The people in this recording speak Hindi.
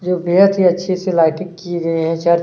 जो बेहद ही अच्छी सी लाइटिंग की गई है चर्च --